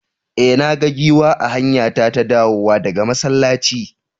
E, na ga giwa a hanyata ta dawowa daga masallaci.